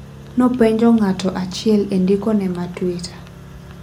Nopenjo ng'ato achiel e ndiko ne ma twitter.